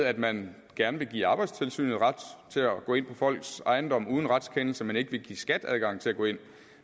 at man gerne vil give arbejdstilsynet ret til at gå ind på folks ejendom uden retskendelse men ikke vil give skat adgang til at gå ind